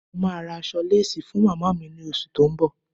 Mo máa ra aṣọ lésì fún màmá mi ní oṣù tó ń bọ̀.